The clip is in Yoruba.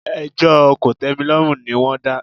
Ẹjọ́ kòtẹ́milọ́rùn ni wọ́n dá.